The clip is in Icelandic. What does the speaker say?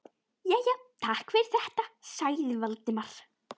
Jæja, takk fyrir þetta- sagði Valdimar.